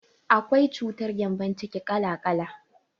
Akwai cutar gembon ciki ƙala ƙala.